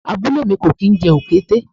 Abúlé mi kò kín jẹ Òkété.